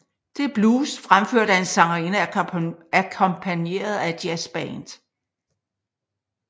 Det er blues fremført af en sangerinde akkompagneret af et jazzband